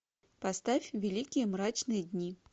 поставь великие мрачные дни